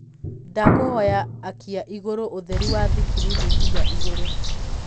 ndakũhoya akĩa ĩgũrũ ũtherĩ wa thĩkĩrĩnĩ nginya iguru